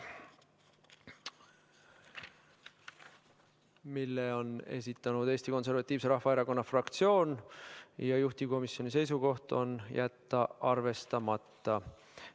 Selle on esitanud Eesti Konservatiivse Rahvaerakonna fraktsioon ja juhtivkomisjoni seisukoht on jätta arvestamata.